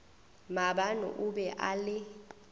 maabane o be a le